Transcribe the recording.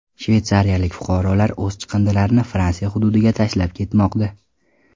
Shveysariyalik fuqarolar o‘z chiqindilarini Fransiya hududiga tashlab ketmoqda.